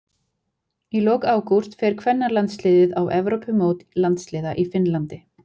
Í lok ágúst fer kvennalandsliðið á Evrópumót landsliða í Finnlandi.